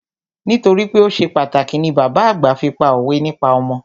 Nítorípé o ṣe pàtàkì ni bàbá àgbà fi pá òwe nípa ọmọ.